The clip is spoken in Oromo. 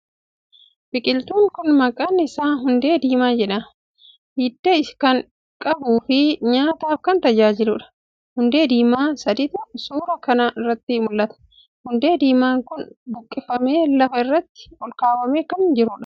Biqiltuun kuni maqqan isaa hundee diimaa jedha, Hidda kan qabuu fii nyaataf kan tajaajiluudha. Hundee diimaa saditu suuraa kana irratti mul'ata. Hundee diiman kuni buqqifamee lafa irratti olkaawamee kan jiruudha.